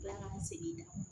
Ala ka n segin da